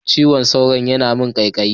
Cizon sauro yana yi min kaikayi.